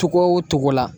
Togo o togo la